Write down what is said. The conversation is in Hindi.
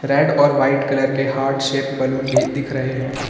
रेड और वाइट कलर के हार्ट शेप बलून भी दिख रहे हैं।